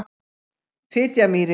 Fitjamýri